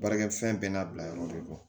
Baarakɛ fɛn bɛɛ n'a bila yɔrɔ de kɔ